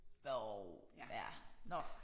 Jo ja nåh